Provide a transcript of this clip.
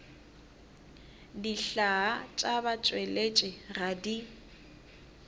dihlaa tša batšweletši ga di